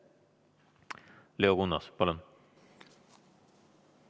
Leo Kunnas, palun!